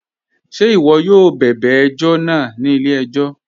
Ṣẹ̀ iwọ̀ yóò bẹbẹ̀ ẹ̀jọ̀ náà ni ilẹ̀-ẹ̀jọ̀?